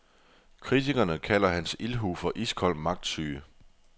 Kritikerne kalder hans ildhu for iskold magtsyge.